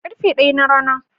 Karfe ɗaya na rana.